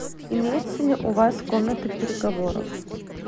имеется ли у вас комната переговоров